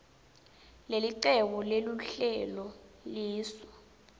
lelicebo leluhlelo lisu